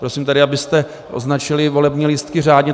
Prosím tedy, abyste označili volební lístky řádně.